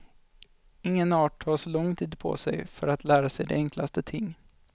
Ingen art tar så lång tid på sig för att lära sig de enklaste ting.